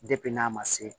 n'a ma se